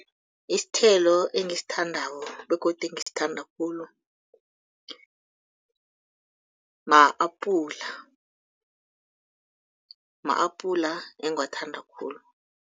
Isithelo engisithandako begodu engisithanda khulu ma-apula, ma-apula engiwathanda khulu.